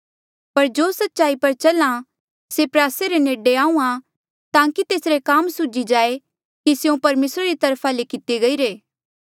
पर जो सच्चाई पर चल्हा से प्रयासे रे नेडे आहूँआं ताकि तेसरे काम सूझी जाए कि स्यों परमेसरा री तरफा ले किते गईरे